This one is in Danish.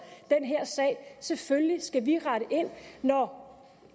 selvfølgelig skal vi rette ind når